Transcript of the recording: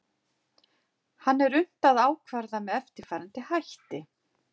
hann er unnt að ákvarða með eftirfarandi hætti